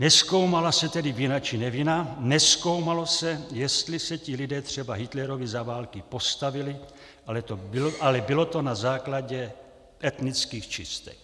Nezkoumala se tedy vina či nevina, nezkoumalo se, jestli se ti lidé třeba Hitlerovi za války postavili, ale bylo to na základě etnických čistek.